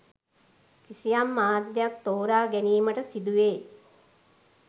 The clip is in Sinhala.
කිසියම් මාධ්‍යයක් තෝරාගැනීමට සිදුවේ.